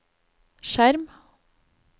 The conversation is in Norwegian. skjerm